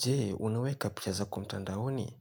Je, unaweka picha zako mtandaoni?